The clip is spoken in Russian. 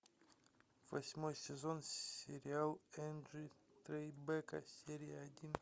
восьмой сезон сериал энджи трайбека серия один